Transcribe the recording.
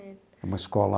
É uma escola